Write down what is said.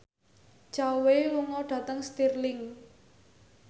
Zhao Wei lunga dhateng Stirling